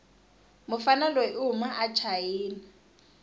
mufana loyi ihhuma achina